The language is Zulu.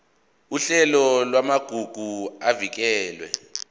uhlelo lwamagugu avikelwe